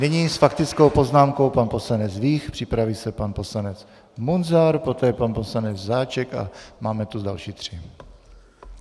Nyní s faktickou poznámkou pan poslanec Vích, připraví se pan poslanec Munzar, poté pan poslanec Žáček a máme tu další tři.